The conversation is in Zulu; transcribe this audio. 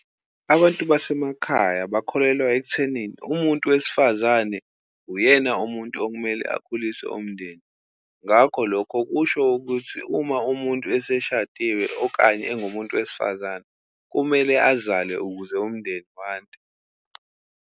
Abantu basemakhaya bakholelwa ekuthenini, umuntu wesifazane uyena umuntu okumele akhulise umndeni. Ngakho, lokho kusho ukuthi uma umuntu eseshadile okanye engumuntu wesifazane, kumele azale ukuze umndeni wande.